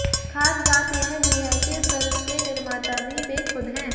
खास बात यह भी है कि फिल्म के निर्माता भी वे खुद हैं